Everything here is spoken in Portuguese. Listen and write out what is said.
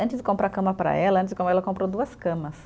Antes de comprar cama para ela, ela comprou duas camas.